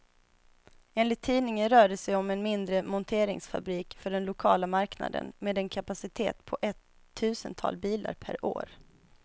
Enligt tidningen rör det sig om en mindre monteringsfabrik för den lokala marknaden, med en kapacitet på ett tusental bilar per år.